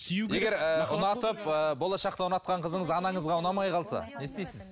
егер ыыы ұнатып ы болашақта ұнатқан қызыңыз анаңызға ұнамай қалса не істейсіз